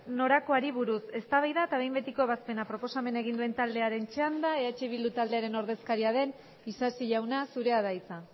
norakoari buruz eztabaida eta behin betiko ebazpena proposamena egin duen taldearen txanda eh bildu taldearen ordezkaria den isasi jauna zurea da hitza